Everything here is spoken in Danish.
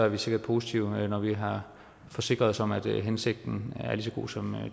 vi sikkert positive når vi har forsikret os om at hensigten er lige så god som